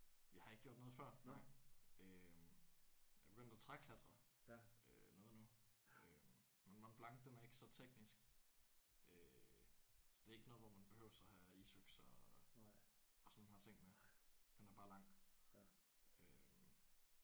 Jeg har ikke gjort noget før nej øh. Jeg er begyndt at træklatre øh noget nu øh men Mont Blanc den er ikke så teknisk. Øh så det er ikke noget hvor man behøver at have isøkse og sådan nogle her ting med. Den er bare lang